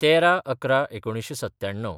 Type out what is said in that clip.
१३/११/१९९७